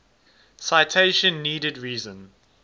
citation needed reason